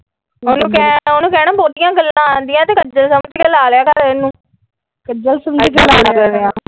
ਉਹਨੂੰ ਕਹਿਣਾ ਬਹੁਤੀਆਂ ਗੱਲਾਂ ਆਉਣ ਦੀਆ ਤੇ ਕੱਜਲ ਸਮਜ ਕੇ ਲਗਾ ਲਿਆ ਕਰ ਇਹਨੂੰ .